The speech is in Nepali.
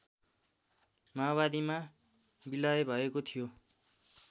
माओवादीमा बिलय भएको थियो